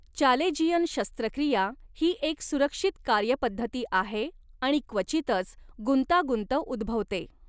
Chalazion शस्त्रक्रिया ही एक सुरक्षित कार्यपद्धती आहे आणि क्वचितच गुंतागुंत उद्भवते.